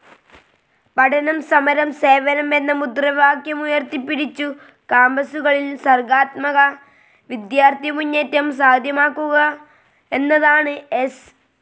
പഠനം സമരം സേവനം എന്ന മുദ്രാവാക്യമുയർത്തിപ്പിടിച്ചു കാമ്പസുകളിൽ സർഗാത്മക വിദ്യാർഥി മുന്നേറ്റം സാധ്യമാക്കുക എന്നതാണ് എസ്.